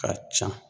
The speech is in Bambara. Ka ca